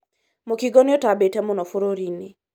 mũkingo nĩũtambĩte mũno bũrũri-inĩ